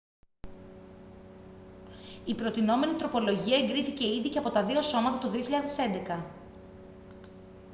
η προτεινόμενη τροπολογία εγκρίθηκε ήδη και από τα δύο σώματα το 2011